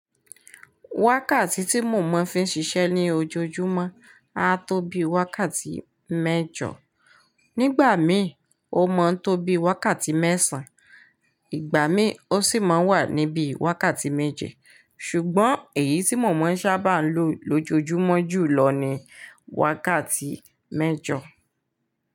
Wákàtí tí mọ̀mọ́ fi ń ṣiṣẹ́ ní ojoojúmọ́ a tó bí wákàtí mẹ́jọ. Nígbà mí o mó ń tó bí wákàtí mẹ́sàn, ìgbà mí ó sì máa ń wà níbí wákàtí méje. Ṣùgbọ́n èyí tí mọ̀mọ́ ń sábà ń lò lójojúmọ́ jùlọ ni wákàtí mẹ́jọ.